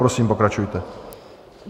Prosím, pokračujte.